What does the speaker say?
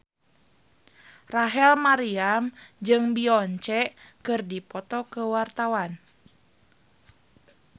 Rachel Maryam jeung Beyonce keur dipoto ku wartawan